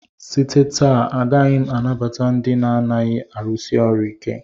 Site na taa agaghị m anabata ndị na-adịghị arụsi ọrụ ike!